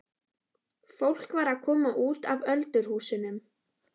Fólk var að koma út af öldurhúsunum.